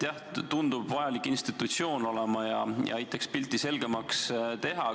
Jah, see tundub olema vajalik institutsioon ja aitaks pilti selgemaks teha.